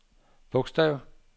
bogstav